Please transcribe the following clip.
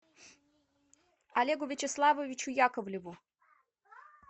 олегу вячеславовичу яковлеву